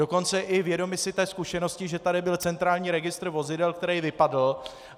Dokonce i vědomi si té zkušenosti, že tady byl centrální registr vozidel, který vypadl.